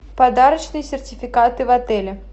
подарочные сертификаты в отеле